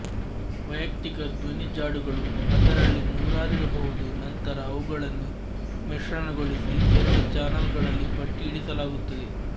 ವೈಯಕ್ತಿಕ ಧ್ವನಿಜಾಡುಗಳು ಅದರಲ್ಲಿ ನೂರಾರಿರಬಹುದುನಂತರ ಅವುಗಳನ್ನು ಮಿಶ್ರಣಗೊಳಿಸಿ ಎರಡು ಚಾನಲ್ ಗಳಲ್ಲಿ ಭಟ್ಟಿ ಇಳಿಸಲಾಗುತ್ತದೆ